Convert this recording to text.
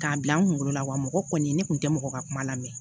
K'a bila n kunkolo la wa mɔgɔ kɔni ne kun tɛ mɔgɔ ka kuma lamɛn